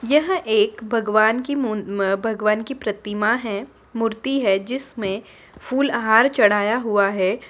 यह एक भगवान की मून म अ भगवान की प्रतिमा हैं मूर्ति है जिसमे फुल अ हार चढ़ाया हुआ हैं।